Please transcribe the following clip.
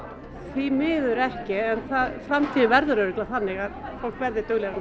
því miður ekki en framtíðin verður örugglega þannig að fólk verði duglegra